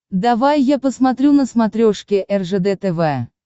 давай я посмотрю на смотрешке ржд тв